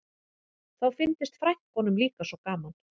Þá fyndist frænkunum líka svo gaman